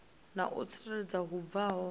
na u tsireledzea hu bvaho